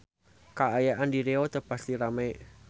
Kaayaan di Riau teu pati rame